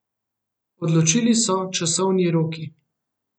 Odločili so časovni roki.